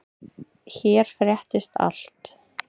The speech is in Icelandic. Hér fréttist allt.